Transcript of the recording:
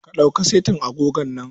Ka ɗauki setin agogon nan.